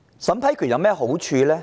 審批權有何好處？